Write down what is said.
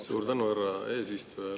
Suur tänu, härra eesistuja!